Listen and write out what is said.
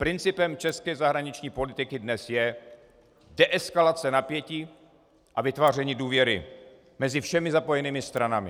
Principem české zahraniční politiky dnes je deeskalace napětí a vytváření důvěry mezi všemi zapojenými stranami.